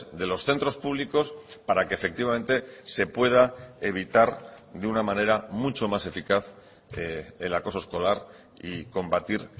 de los centros públicos para que efectivamente se pueda evitar de una manera mucho más eficaz el acoso escolar y combatir